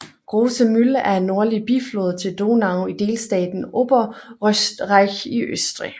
Große Mühl er en nordlig biflod til Donau i delstaten Oberösterreich i Østrig